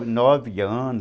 nove anos...